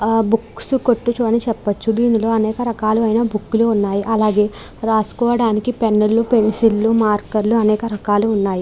ఆ బుక్స్ కొట్టుచు అని చెప్పొచ్చు దీనిలో అనేక రకాలు అయిన బుక్ లు ఉన్నాయి అలాగే రాసుకోవడానికి పెన్ను లు పెన్సిల్ లు మార్కర్ లు అనేక రకాలు ఉన్నాయి.